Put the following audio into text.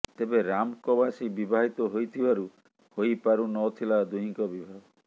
ତେବେ ରାମ କବାସୀ ବିବାହିତ ହୋଇଥିବାରୁ ହୋଇ ପାରୁ ନଥିଲା ଦୁହିଁଙ୍କ ବିବାହ